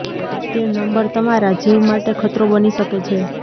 તે નંબર તમારા જીવ માટે ખતરો બની શકે છે